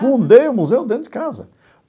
Fundei o museu dentro de casa.